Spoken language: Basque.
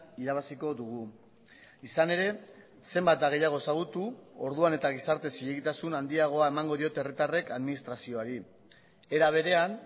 irabaziko dugu izan ere zenbat eta gehiago ezagutu orduan eta gizarte zilegitasun handiagoa emango diote herritarrek administrazioari era berean